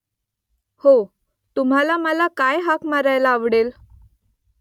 हो . तुम्हाला मला काय हाक मारायला आवडेल ?